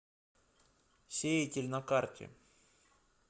сеятель на карте